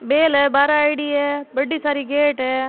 बेल है बहार आयेड़ी है बड़ी सारी गेट है।